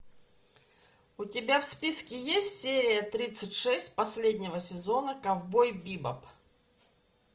у тебя в списке есть серия тридцать шесть последнего сезона ковбой бибоп